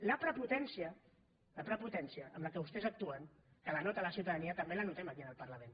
la prepotència la prepotència amb què vostès actuen que la nota la ciutadania també la notem aquí en el parlament